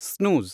snooze